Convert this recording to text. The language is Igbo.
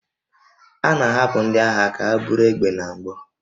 A na-ahapụ ndị agha ka ha buru egbe na mgbọ